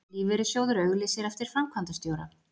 Lífeyrissjóður auglýsir eftir framkvæmdastjóra